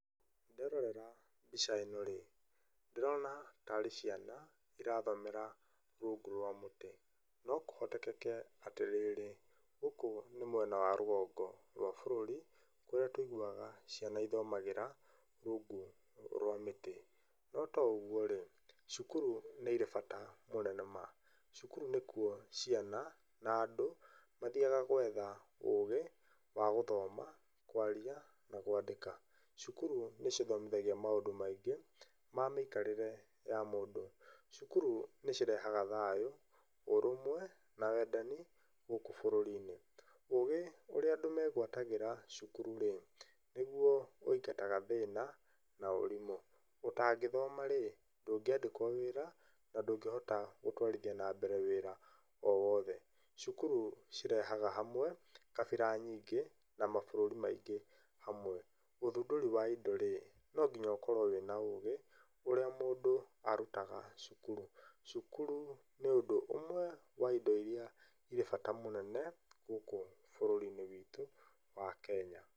Nderorera mbica ĩno-rĩ, ndĩrona ta arĩ ciana irathomera rungu rwa mũtĩ. No kũhotekeke atĩrĩrĩ, gũkũ nĩ mwena wa rũgongo rwa bũrũri kũrĩa tũiguaga ciana ithomagĩra rungu rwa mĩtĩ. No to ũgũo-rĩ, cukuru nĩ irĩ bata mũnene ma. Cukuru nĩkuo ciana na andũ mathiaga gwetha ũgĩ wa gũthoma, kwaria na kwandĩka. Cukuru nĩ cithomithagia maũndũ maingĩ ma mĩikarĩre ya mũndũ. Cukuru nĩ cirehaga thayu, ũrũmwe na wendani gũkũ bũrũri-inĩ. Ũgĩ ũrĩa andũ megwatagĩra cukuru-rĩ nĩguo wĩingataga thĩna na ũrimũ. Ũtangĩthoma-rĩ ndũngĩandĩkwo wĩra na ndũngĩhota gũtwarithia na mbere wĩra o wothe. Cukuru cirehaga hamwe kabira nyingĩ na mabũrũri maingĩ hamwe. Ũthundũri wa indo-rĩ, no nginya ũkorwo wĩna ũgĩ ũrĩa mũndũ arutaga cukuru. Cukuru nĩ ũndũ ũmwe wa indo iria irĩ bata mũnene gũkĩ bũrũri-inĩ witũ wa Kenya.